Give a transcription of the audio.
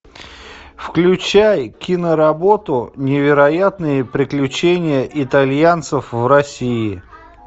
включай киноработу невероятные приключения итальянцев в россии